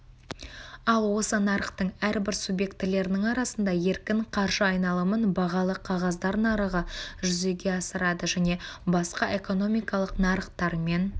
ал осы нарықтың әрбір субъектілерінің арасында еркін қаржы айналымын бағалы қағаздар нарығы жүзеге асырады және басқа экономикалық нарықтармен